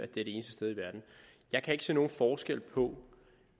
det eneste sted i verden jeg kan ikke se nogen forskel på